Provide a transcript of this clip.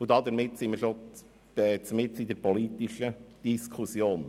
Damit befinden wir uns bereits mitten in der politischen Diskussion.